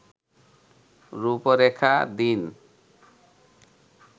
রূপরেখা দিন